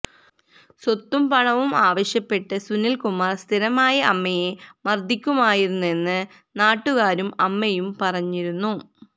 സ്വത്തും പണവും ആവശ്യപ്പെട്ട് സുനിൽ കുമാർ സ്ഥിരമായി അമ്മയെ മർദ്ദിക്കുമായിരുന്നെന്ന് നാട്ടുകാരും അമ്മയും പറഞ്ഞിരുന്നു